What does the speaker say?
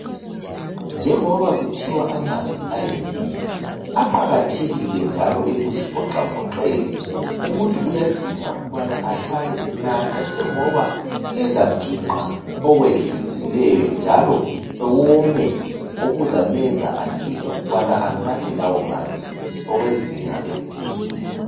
Njengoba kuthiwa amanzi ayimpilo, aqakathekile njalo ekuzivoxavoxeni .Umuntu uyadinga ukubana ahlale enatha njengoba ezaginqa okwedlulisileyo njalo ewome okuzamenza adinge ukubana anathe lawo manzi okwezinga eliphezulu.